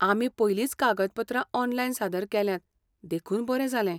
आमी पयलींच कागदपत्रां ऑनलायन सादर केल्यांत देखून बरें जालें.